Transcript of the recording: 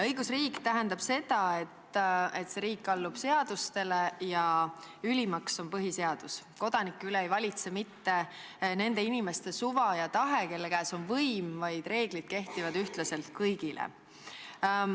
Õigusriik tähendab seda, et see riik allub seadustele ja ülimaks on põhiseadus, kodanike üle ei valitse mitte nende inimeste suva ja tahe, kelle käes on võim, vaid reeglid kehtivad ühtlaselt kõigile.